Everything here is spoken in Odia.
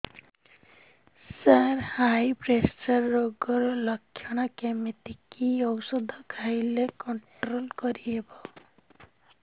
ସାର ହାଇ ପ୍ରେସର ରୋଗର ଲଖଣ କେମିତି କି ଓଷଧ ଖାଇଲେ କଂଟ୍ରୋଲ କରିହେବ